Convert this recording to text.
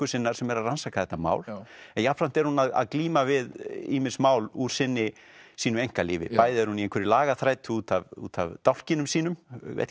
sinnar sem er að rannsaka þetta mál en jafnframt er hún að glíma við ýmis mál úr sínu einkalífi bæði er hún í einhverri lagaþrætu út af út af dálkinum sínum